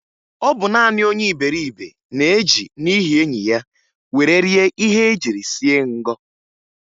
Ọ bụ naanị onye iberibe na-eji n'ihi enyi ya were rie ihe e jiri sie ngọ